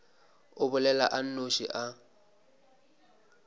a bolela a nnoši a